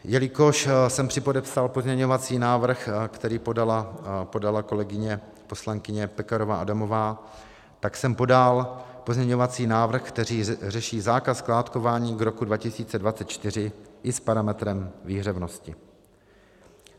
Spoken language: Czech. Jelikož jsem připodepsal pozměňovací návrh, který podala kolegyně poslankyně Pekarová Adamová, tak jsem podal pozměňovací návrh, který řeší zákaz skládkování k roku 2024 i s parametrem výhřevnosti.